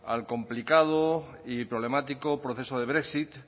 al complicado y problemático proceso de brexit